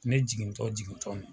Ne jigintɔ jigintɔ